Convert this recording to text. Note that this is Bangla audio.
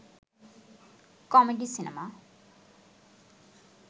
comedy cinema